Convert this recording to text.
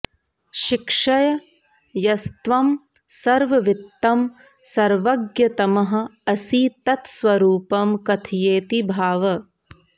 शिक्षय यस्त्वं सर्ववित्तमः सर्वज्ञतमः असि तत्स्वरूपं कथयेति भाव